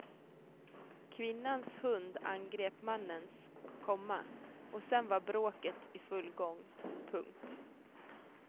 Kvinnans hund angrep mannens, komma och sedan var bråket i full gång. punkt